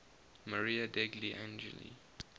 maria degli angeli